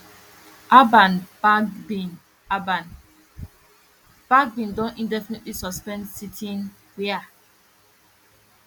alban bagbin alban bagbin don indefinitely suspend sitting wia